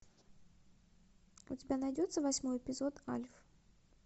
у тебя найдется восьмой эпизод альф